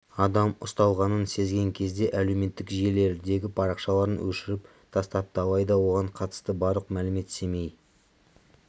адам ұсталғанын сезген кезде әлеуметтік желілердегі парақшаларын өшіріп тастапты алайда оған қатысты барлық мәлімет семей